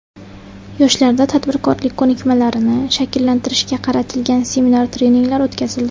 Yoshlarda tadbirkorlik ko‘nikmalarini shakllantirishga qaratilgan seminar-treninglar o‘tkazildi.